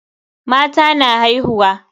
Mata na haihuwa.